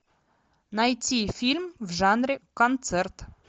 найти фильм в жанре концерт